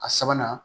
A sabanan